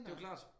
Det jo klart